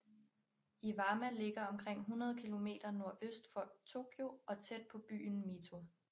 Iwama ligger omkring 100 km nordøst for Tokyo og tæt på byen Mito